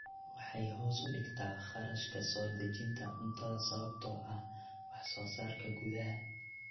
Waxay hoos u dhigtaa kharashka soo dejinta cuntada sababtoo ah wax soo saarka gudaha.